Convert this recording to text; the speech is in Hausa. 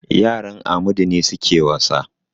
Yaran Amadu ne suke wasa.